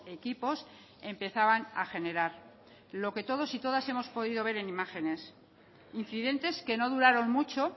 equipos empezaban a generar lo que todos y todas hemos podido ver en imágenes incidentes que no duraron mucho